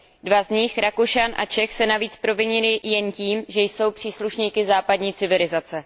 Dva z nich, Rakušan a Čech, se navíc provinili jen tím, že jsou příslušníky západní civilizace.